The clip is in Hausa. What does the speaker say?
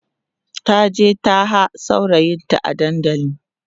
taje taha saurayinta a dandali